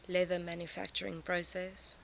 leather manufacturing process